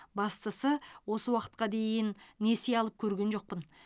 бастысы осы уақытқа дейін несие алып көрген жоқпын